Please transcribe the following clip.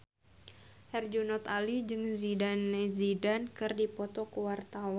Herjunot Ali jeung Zidane Zidane keur dipoto ku wartawan